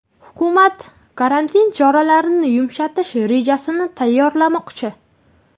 Hukumat karantin choralarini yumshatish rejasini tayyorlamoqchi.